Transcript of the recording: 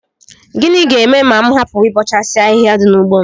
Gịnị ga-eme ma m hapụ ịbọchasị ahịhịa dị n'ugbo m